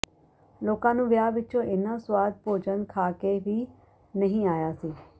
ਲੋਕਾਂ ਨੂੰ ਵਿਆਹ ਵਿਚੋਂ ਇੰਨਾ ਸੁਆਦ ਭੋਜਨ ਖਾਂ ਕੇ ਵੀ ਨਹੀਂ ਆਇਆ ਸੀ